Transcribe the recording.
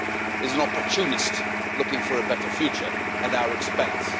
is an opportunist looking for a better future at our expense.